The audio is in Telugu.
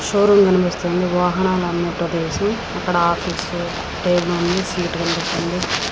షో రూమ్ కనిపిస్తుంది. వాహనాలు అమ్మే ప్రదేశం అక్కడ ఆఫీస్ టేబుల్ అను సీట్ కనిపిస్తుంది.